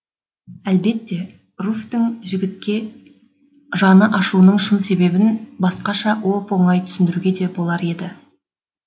әлбетте руфьтің жігітке жаны ашуының шын себебін басқаша оп оңай түсіндіруге де болар еді